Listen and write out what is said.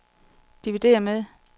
dividér med